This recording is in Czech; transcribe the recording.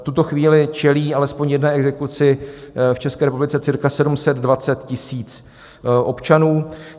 V tuto chvíli čelí alespoň jedné exekuci v České republice cirka 720 000 občanů.